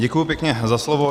Děkuji pěkně za slovo.